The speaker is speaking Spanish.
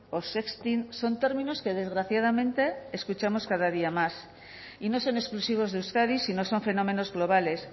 o sexting son términos que desgraciadamente escuchamos cada día más y no son exclusivos de euskadi sino son fenómenos globales